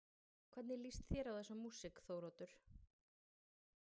Lóa: Hvernig lýst þér á þessa músík Þóroddur?